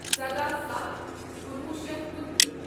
سدَہ ستھ کُنوُہ شیتھ کنتٕرہ